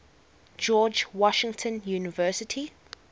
george washington university